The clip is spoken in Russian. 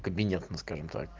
кабинет ну скажем так